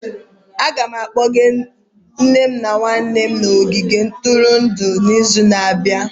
Aga m akpọga nne m na nwanne m n'ogige ntụrụndụ izu na-abịa.